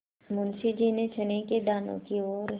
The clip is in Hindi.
मुंशी जी ने चने के दानों की ओर